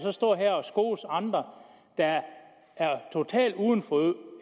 at stå her og skose andre der er totalt uden for